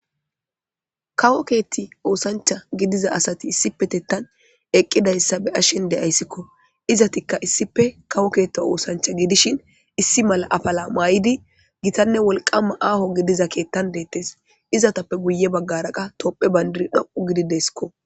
Kawo keetti oosancha gidiza asati issipe tettan eqqidayssa be ashen de ayssikko izatikka issife kawo keetta oosancha gidishin issi mala afala maay'idi gitanne wolqamma aaho gidiza keettan deettes izatappe guye baggara qa topphe bayndiri dho'u gidideskko.